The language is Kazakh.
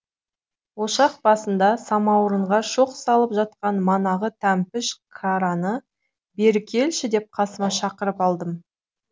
ошақ басында самаурынға шоқ салып жатқан манағы тәмпіш қараны бері келші деп қасыма шақырып алдым